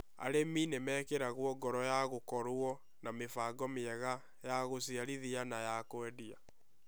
Arĩmi nĩ mekĩragwo ngoro gũkorũo na mĩbango mĩega ya gũciarithia na ya kũendia